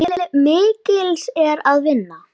Til mikils er að vinna.